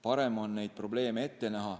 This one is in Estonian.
Parem on neid probleeme ette näha